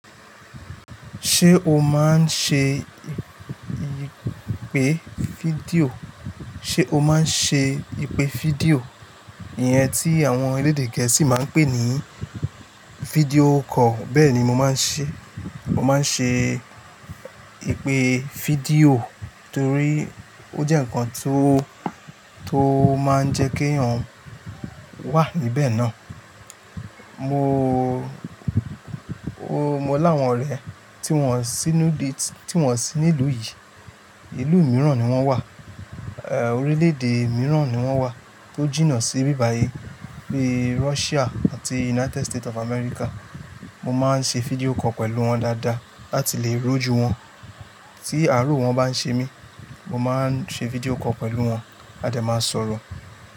Ṣé o máa ń ṣe ìpè fídíò? Ṣé o máa ń ṣe ìpè fídíò? Iyen tí àwọn orílè-èdè gẹ̀ẹ́sì máa ń pè ní fídíò call. Bẹ́ẹ̀ni mo máa ń ṣe, mo máa ń ṣe ìpè fídíò torí ó jẹ́ ǹkan tó, tó máa ń jẹ́ kí èèyàn wà níbẹ̀ náà. Mo, mo láwọn rẹ̀ tí wọ́n sí inú di-- tí wọ́n sí ní ìlú yìí, ìlú mìíràn ni wọ́n wà, eh orílè-èdè mìíràn ni wọ́n wà tó jìnnà sí ibí bàyí bíi Russia àti United State of America. Mo máa ń ṣe fídíò call pẹ̀lú wọn dáadáa láti lè ri ojú wọn. Tí àárọ̀ wọn bá ń ṣe mí, mo máa ń ṣe fídíò call pẹ̀lú wọn a dẹ máa sọ̀rọ̀.